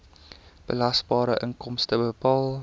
belasbare inkomste bepaal